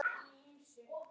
Það hafi verið mikið áfall.